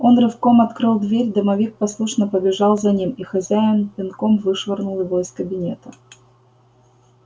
он рывком открыл дверь домовик послушно побежал за ним и хозяин пинком вышвырнул его из кабинета